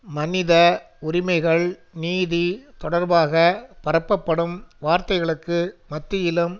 மனித உரிமைகள் நீதி தொடர்பாக பரப்பப்படும் வார்த்தைகளுக்கு மத்தியிலும்